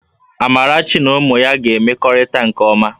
Amarachi na ụmụ ya ga-emekọrịta nke ọma